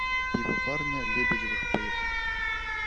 пивоварня лебедевых поехали